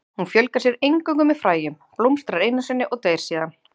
Hún fjölgar sér eingöngu með fræjum, blómstrar einu sinni og deyr síðan.